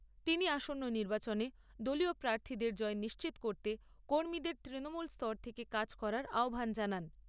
তিনি আসন্ন নির্বাচনে দলীয় প্রার্থীদের জয় নিশ্চিত করতে কর্মীদের তৃণমূল স্তর থেকে কাজ করার আহ্বান জানান।